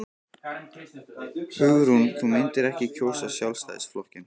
Hugrún: Þú myndir ekki kjósa Sjálfstæðisflokkinn?